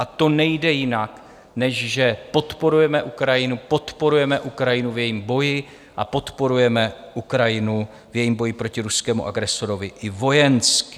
A to nejde jinak, než že podporujeme Ukrajinu, podporujeme Ukrajinu v jejím boji a podporujeme Ukrajinu v jejím boji proti ruskému agresorovi i vojensky.